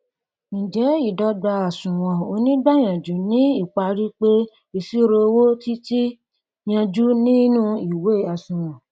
ǹjẹ ìdọgba àsunwon oníìgbàyànjú ni ìparí pé ìṣirò owo ti ti yanjú nínu ìwé àsunwon